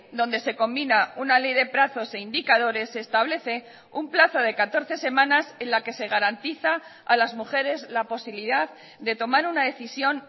donde se combina una ley de plazos e indicadores se establece un plazo de catorce semanas en la que se garantiza a las mujeres la posibilidad de tomar una decisión